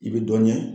I bɛ dɔ ɲɛ